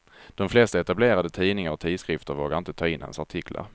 De flesta etablerade tidningar och tidskrifter vågade inte ta in hans artiklar.